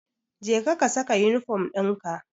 Jeka ka saka yunifom dinka.